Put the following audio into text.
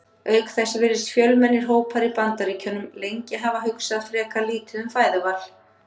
Auk þess virðast fjölmennir hópar í Bandaríkjunum lengi hafa hugsað frekar lítið um fæðuval.